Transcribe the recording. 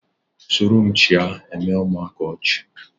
soromchịa eme ụmụaka ọchị